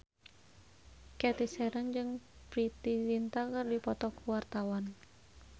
Cathy Sharon jeung Preity Zinta keur dipoto ku wartawan